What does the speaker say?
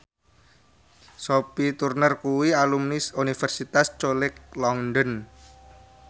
Sophie Turner kuwi alumni Universitas College London